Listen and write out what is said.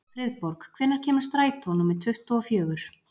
Friðborg, hvenær kemur strætó númer tuttugu og fjögur?